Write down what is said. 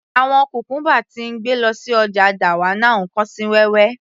Àwọn cucumber tí ń gbé lọ sí ọjà dawanau kán sí wẹ́wẹ́